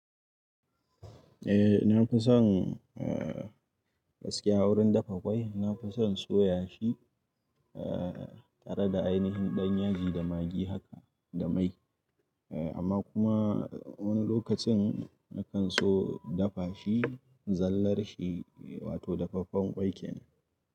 Eh na fi son gaskiya wurin dafa ƙwai. Na fi son soya shi tare da ainihin ɗanyaji da magi haka da mai. Amma kuma wani lokacin na kan so dafa shi zallar shi wato dafaffen ƙwai kenan.